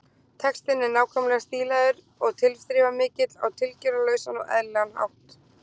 Textinn er nákvæmlega stílaður og tilþrifamikill á tilgerðarlausan og eðlilegan hátt.